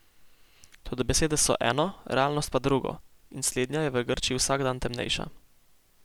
Toda besede so eno, realnost pa drugo, in slednja je v Grčiji vsak dan temnejša.